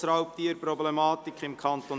«Grossraubtierproblematik im Kanton